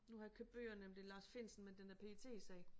Nu har jeg købt bøgerne om det Lars Findsen men den der PET-sag